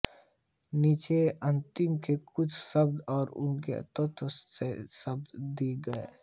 नीचे तमिल के कुछ शब्द और उनके तत्सम शब्द दिए गए हैं